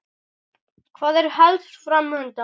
Hvað er helst fram undan?